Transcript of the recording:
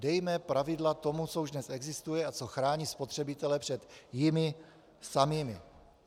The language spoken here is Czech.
Dejme pravidla tomu, co už dnes existuje a co chrání spotřebitele před jimi samými.